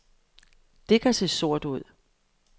Det kan se sort ud.